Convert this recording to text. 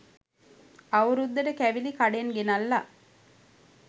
අවුරුද්දට කැවිලි කඩෙන් ගෙනල්ල